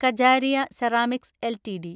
Kajaria ceramics LTD